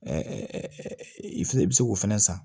i filɛ i bɛ se k'o fɛnɛ san